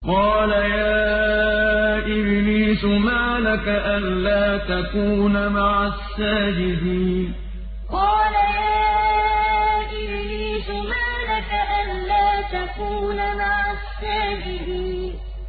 قَالَ يَا إِبْلِيسُ مَا لَكَ أَلَّا تَكُونَ مَعَ السَّاجِدِينَ قَالَ يَا إِبْلِيسُ مَا لَكَ أَلَّا تَكُونَ مَعَ السَّاجِدِينَ